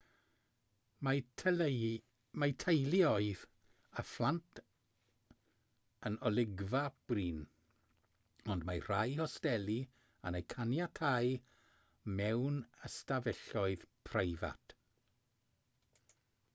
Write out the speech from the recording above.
mae teuluoedd â phlant yn olygfa brin ond mae rhai hosteli yn eu caniatáu mewn ystafelloedd preifat